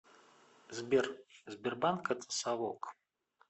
сбер сбербанк это совок